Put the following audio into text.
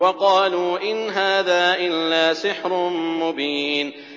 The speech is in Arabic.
وَقَالُوا إِنْ هَٰذَا إِلَّا سِحْرٌ مُّبِينٌ